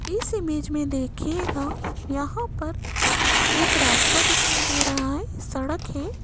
इस इमेज में देखिएगा यहां पर एक रास्ता दिखाई दे रहा है सड़क है।